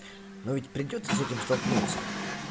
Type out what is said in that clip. но ведь придётся с этим столкнуться